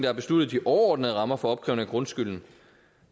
har besluttet de overordnede rammer for opkrævning af grundskylden